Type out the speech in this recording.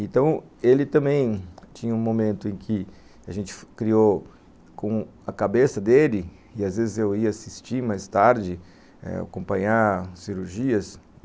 Então, ele também tinha um momento em que a gente criou com a cabeça dele, e às vezes eu ia assistir mais tarde, acompanhar cirurgias.